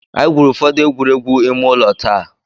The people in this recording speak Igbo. Anyị gwurù ụfọdụ egwuregwu ime ụlọ taa.